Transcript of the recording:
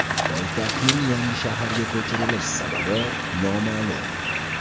Poytaxtning yangi shaharga ko‘chirilish sababi noma’lum.